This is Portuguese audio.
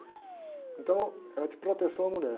Então, era de proteção à mulher.